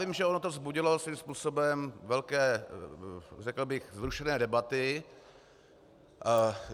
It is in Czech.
Vím, že ono to vzbudilo svým způsobem velké, řekl bych vzrušené debaty.